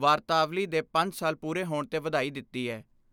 ਵਾਰਤਾਵਲੀ ਦੇ ਪੰਜ ਸਾਲ ਪੂਰੇ ' ਹੋਣ ਤੇ ਵਧਾਈ ਦਿੱਤੀ ਐ।